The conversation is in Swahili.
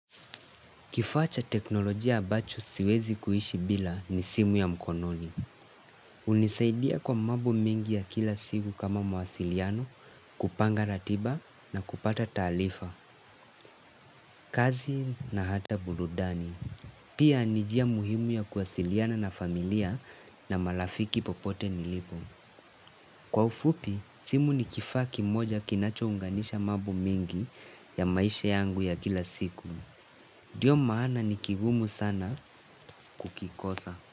Kifaa cha teknolojia ambacho siwezi kuishi bila ni simu ya mkononi. Hunisaidia kwa mambo mengi ya kila siku kama mawasiliano, kupanga ratiba na kupata taarifa, kazi na hata burudani. Pia ni njia muhimu ya kuwasiliana na familia na marafiki popote nilipo. Kwa ufupi, simu ni kifaa kimoja kinacho unganisha mambo mengi ya maisha yangu ya kila siku. Ndio maana ni kigumu sana kukikosa.